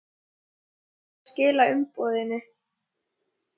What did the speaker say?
Ertu búinn að skila umboðinu?